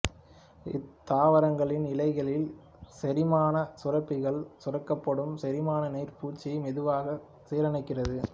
இத்தாவரங்களின் இலைகளில் செரிமான சுரப்பிகளால் சுரக்கப்படும் செரிமான நீர் பூச்சியை மெதுவாக சீரணிக்கிறது